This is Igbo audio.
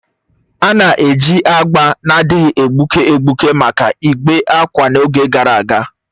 A na-eji agba na-adịghị egbuke egbuke maka ịkwè ákwà n'oge gara aga.